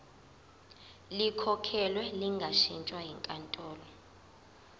likhokhelwe lingashintshwa yinkantolo